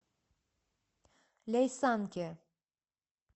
ляйсанке